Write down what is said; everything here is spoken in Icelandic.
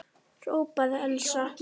hrópaði Elsa.